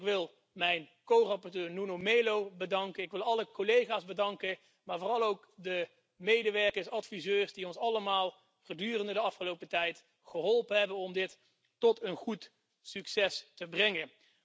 Ik wil mijn corapporteur Nuno Melo bedanken. Ik wil alle collega's bedanken, maar vooral ook de medewerkers, adviseurs, die ons gedurende de afgelopen tijd allemaal geholpen hebben om dit tot een goed einde te brengen.